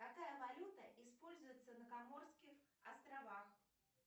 какая валюта используется на коморских островах